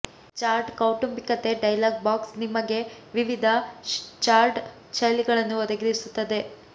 chart ಕೌಟುಂಬಿಕತೆ dialog box ನಿಮಗೆ ವಿವಿಧ ಚಾರ್ಟ್ ಶೈಲಿಗಳನ್ನು ಒದಗಿಸುತ್ತದೆ